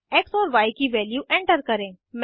x और Y की value enter करें